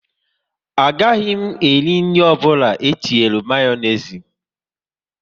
A gaghị m eri nri ọbụla etinyere Mayonezi